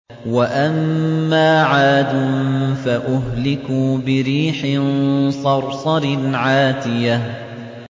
وَأَمَّا عَادٌ فَأُهْلِكُوا بِرِيحٍ صَرْصَرٍ عَاتِيَةٍ